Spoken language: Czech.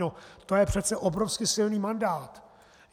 No, to je přeci obrovsky silný mandát.